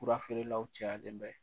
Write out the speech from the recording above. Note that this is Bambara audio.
Fura feerelaw cayalen bɛ.